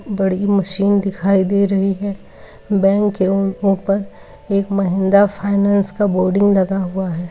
बड़ी मशीन दिखाई दे रही है। बैंक के ऊ ऊपर एक महिंद्रा फाइनेंस का बोर्डिंग लगा हुआ है।